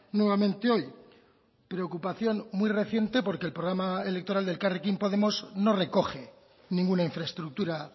nuevamente hoy preocupación muy reciente porque el programa electoral de elkarrekin podemos no recoge ninguna infraestructura